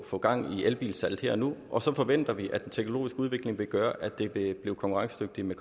få gang i elbilsalget her og nu og så forventer vi at den teknologisk udvikling vil gøre at det bliver konkurrencedygtigt med